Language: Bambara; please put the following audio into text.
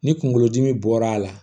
Ni kungolodimi bɔra a la